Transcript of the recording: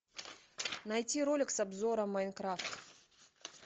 найти ролик с обзором майнкрафт